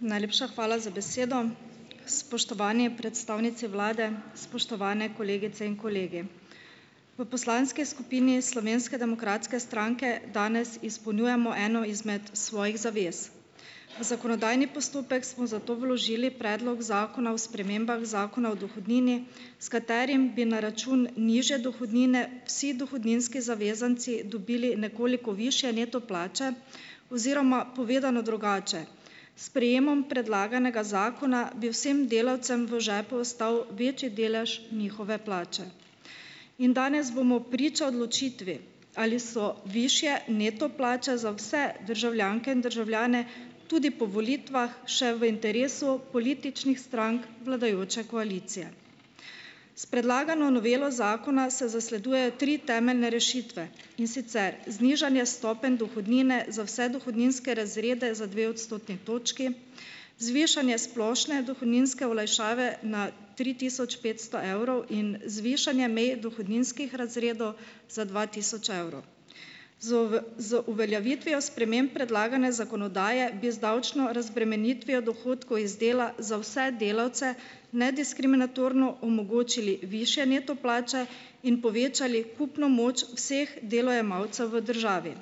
Najlepša hvala za besedo. Spoštovani predstavnici vlade, spoštovane kolegice in kolegi! V poslanski skupini Slovenske demokratske stranke danes izpolnjujemo eno izmed svojih zavez. V zakonodajni postopek smo zato vložili Predlog zakona o spremembah Zakona o dohodnini, s katerim bi na račun nižje dohodnine vsi dohodninski zavezanci dobili nekoliko višje neto plače, oziroma povedano drugače, s sprejemom predlaganega zakona bi vsem delavcem v žepu ostal večji delež njihove plače. In danes bomo priča odločitvi, ali so višje neto plače za vse državljanke in državljane tudi po volitvah še v interesu političnih strank vladajoče koalicije. S predlagano novelo zakona se zasleduje tri temeljne rešitve, in sicer znižanje stopenj dohodnine za vse dohodninske razrede za dve odstotni točki. Zvišanje splošne dohodninske olajšave na tri tisoč petsto evrov in zvišanje meje dohodninskih razredov za dva tisoč evrov. Z z uveljavitvijo sprememb predlagane zakonodaje bi z davčno razbremenitvijo dohodkov iz dela za vse delavce nediskriminatorno omogočili višje neto plače in povečali kupno moč vseh delojemalcev v državi.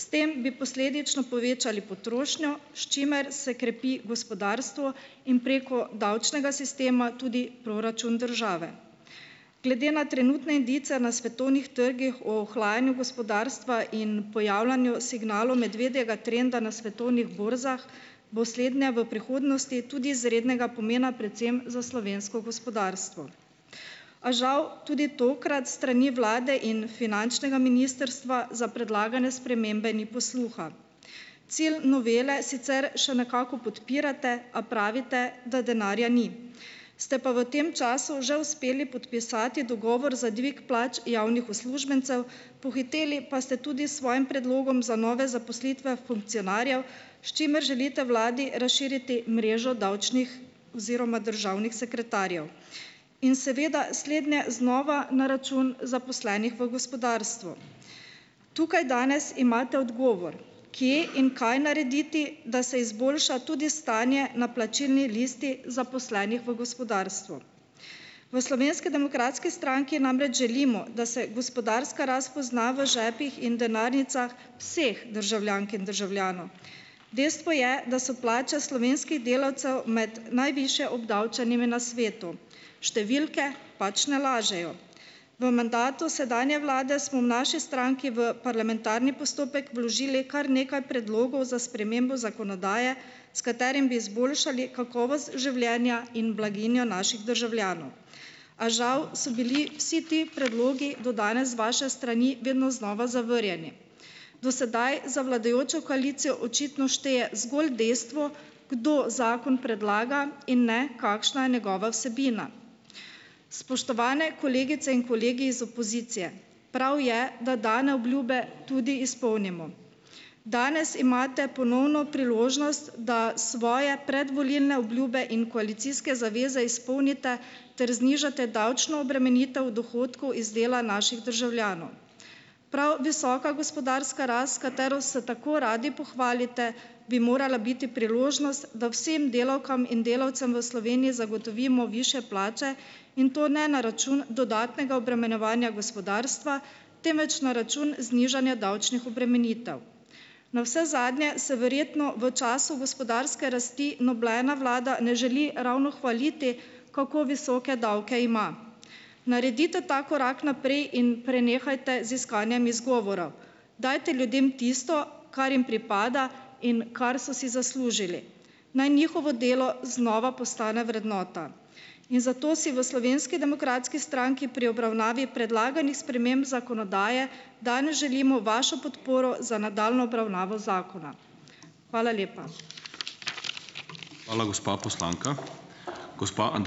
S tem bi posledično povečali potrošnjo, s čimer se krepi gospodarstvo, in preko davčnega sistema tudi proračun države. Glede na trenutne indice na svetovnih trgih o ohlajanju gospodarstva in pojavljanju signalov medvedjega trenda na svetovnih borzah bo slednja v prihodnosti tudi izrednega pomena predvsem za slovensko gospodarstvo. A žal tudi tokrat s strani vlade in finančnega ministrstva za predlagane spremembe ni posluha. Cilj novele sicer še nekako podpirate, a pravite, da denarja ni. Ste pa v tem času že uspeli podpisati dogovor za dvig plač javnih uslužbencev, pohiteli pa ste tudi s svojim predlogom za nove zaposlitve funkcionarjev, s čimer želite vladi razširiti mrežo davčnih oziroma državnih sekretarjev. In seveda slednje znova na račun zaposlenih v gospodarstvu. Tukaj danes imate odgovor. Kje in kaj narediti, da se izboljša tudi stanje na plačilni listi zaposlenih v gospodarstvu. V Slovenske demokratski stranki namreč želimo, da se gospodarska rast pozna v žepih in denarnicah vseh državljank in državljanov. Dejstvo je, da so plače slovenskih delavcev med najvišje obdavčenimi na svetu. Številke pač ne lažejo. V mandatu sedanje vlade smo v naši stranki v parlamentarni postopek vložili kar nekaj predlogov za spremembo zakonodaje, s katerim bi izboljšali kakovost življenja in blaginjo naših državljanov. A žal so bili vsi ti predlogi do danes z vaše strani vedno znova zavrnjeni. Do sedaj za vladajočo koalicijo očitno šteje zgolj dejstvo, kdo zakon predlaga, in ne, kakšna je njegova vsebina. Spoštovane kolegice in kolegi iz opozicije! Prav je, da dane obljube tudi izpolnimo. Danes imate ponovno priložnost, da svoje predvolilne obljube in koalicijske zaveze izpolnite ter znižate davčno obremenitev dohodkov iz dela naših državljanov. Prav visoka gospodarska rast, s katero se tako radi pohvalite, bi morala biti priložnost, da vsem delavkam in delavcem v Sloveniji zagotovimo višje plače, in to ne na račun dodatnega obremenjevanja gospodarstva, temveč na račun znižanja davčnih obremenitev. Navsezadnje se verjetno v času gospodarske rasti nobena vlada ne želi ravno hvaliti, kako visoke davke ima. Naredite ta korak naprej in prenehajte z iskanjem izgovorov. Dajte ljudem tisto, kar jim pripada in kar so si zaslužili. Naj njihovo delo znova postane vrednota. In zato si v Slovenski demokratski stranki pri obravnavi predlaganih sprememb zakonodaje danes želimo vašo podporo za nadaljnjo obravnavo zakona. Hvala lepa.